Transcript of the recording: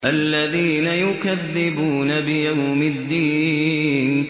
الَّذِينَ يُكَذِّبُونَ بِيَوْمِ الدِّينِ